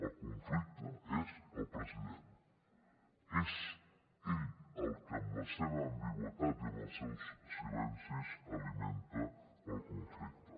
el conflicte és el president és ell el que amb la seva ambigüitat i amb els seus silencis alimenta el conflicte